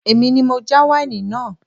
Èmi ni mo já wáìnì náà